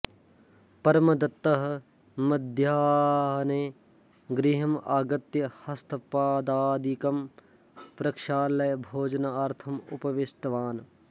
परमदत्तः मध्याह्ने गृहम् आगत्य हस्तपादादिकं प्रक्षाल्य भोजनार्थम् उपविष्ठवान्